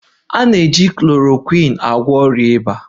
A na-eji chlorokwin agwọ ọrịa ịba